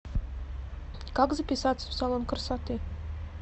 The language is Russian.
как записаться в салон красоты